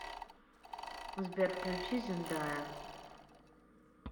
сбер включи зендая